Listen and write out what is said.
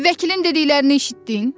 Vəkilin dediklərini eşitdin?